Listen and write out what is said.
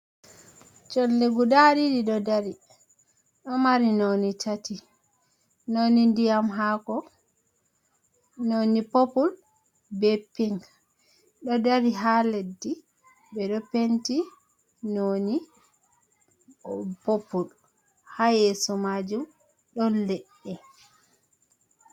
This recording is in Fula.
Cholle guda ɗiɗi ɗo dari ɗo mari none tati, none ndiyam hako, none popul, be pinc dou dari ha leɗɗi ɓeɗo penti none popul ha yeso majum ɗon leɗɗe.